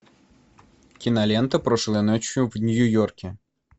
кинолента прошлой ночью в нью йорке